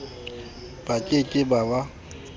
ba ke ke ba ba